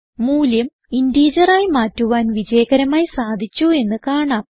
മൂല്യം ഇന്റിജർ ആയി മാറ്റുവാൻ വിജയകരമായി സാധിച്ചു എന്ന് കാണാം